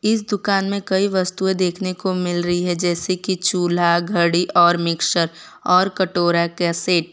इस दुकान में कई वस्तुएं देखने को मिल रही है जैसे कि चूल्हा घड़ी और मिक्सर और कटोरा कैसेट ।